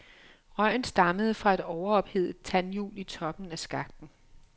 Røgen stammede fra et overophedet tandhjul i toppen af skakten.